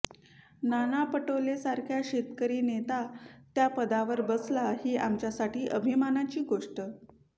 नाना पटोलेंसारखा शेतकरी नेता त्या पदावर बसला ही आमच्यासाठी अभिमानाची गोष्ट